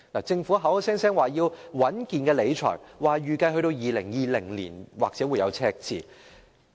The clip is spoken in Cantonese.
政府口口聲聲說要穩健理財，說預計2020年或許會有赤字。